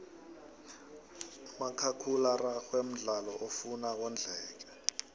umakhakhula araxhwe mdlalo ofuna wondleke